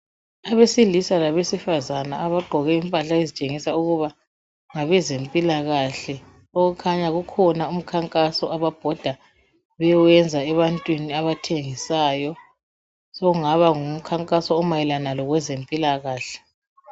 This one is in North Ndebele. Abesilisa labesifazane abagqoke impahla ezitshengisa ukuba ngabezempilakahle okukhanya kukhona umkhankaso ababhoda bewenza ebantwini abathengisayo. Sokungaba ngumkhankaso omayelana labezempilakahle.